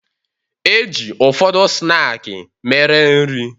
E ji ụfọdụ snaakị mere nri.